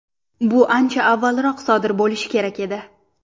Bu ancha avvalroq sodir bo‘lishi kerak edi.